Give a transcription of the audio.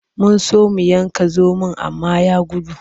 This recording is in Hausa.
Mun so mu yanka zomon amma ya gudu.